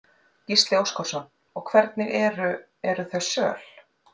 Gísli Óskarsson: Og hvernig eru, eru þau söl?